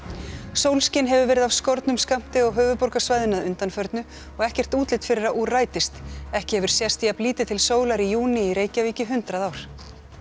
sólskin hefur verið af skornum skammti á höfuðborgarsvæðinu að undanförnu og ekkert útlit fyrir að úr rætist ekki hefur sést jafn lítið til sólar í júní í í Reykjavík í hundrað ár